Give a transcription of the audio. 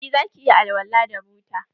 Eh zaki iya alwala da buta.